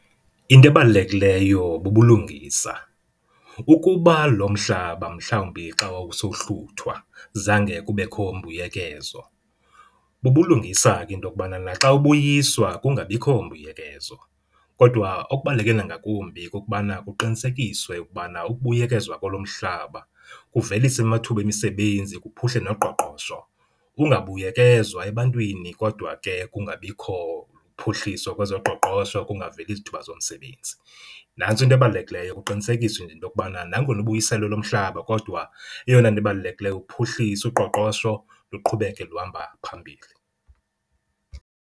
Into ebalulekiyo bubulungisa. Ukuba lomhlaba mhlawumbi xa wawusohluthwa zange kubekho mbuyekezo, bubulungisa ke intokubana naxa ubuyiswa kungabikho mbuyekezo. Kodwa okubaluleke nangakumbi kukubana kuqinisekiswe ukubana ukubuyekezwa kwalo mhlaba kuvelisa amathuba omsebenzi kuphuhle noqoqosho. Kungabuyekezwa ebantwini kodwa ke kungabikho phuhliso kwezoqoqosho, kungaveli zithuba zomsebenzi. Nantso into ebalulekileyo kuqinisekiswe nje intokubana nangona ubuyiselwe lo mhlaba kodwa eyona nto ibalulekileyo uphuhliso, uqoqosho luqhubeke luhamba phambili.